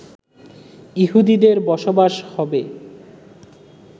ইহুদিদের বসবাস হবে